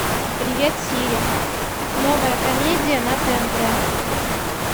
привет сири новая комедия на тнт